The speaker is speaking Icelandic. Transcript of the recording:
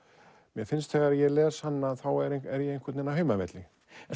mér finnst þegar ég les hann er er ég á heimavelli